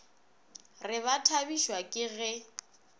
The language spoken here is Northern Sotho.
re ba thabišwa ke ge